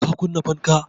Ka kunna fanka?